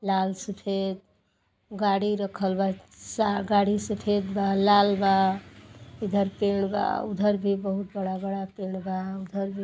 लाल सफेद गाड़ी रखल बा। सा गाड़ी सफ़ेद बा लाल बा। इधर पेड़ बा उधर भी बहुत बड़ा बड़ा पेड़ बा। उधर भी --